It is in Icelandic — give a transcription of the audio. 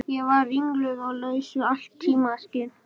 Ég var ringluð og laus við allt tímaskyn.